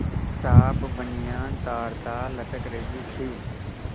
साफ बनियान तारतार लटक रही थी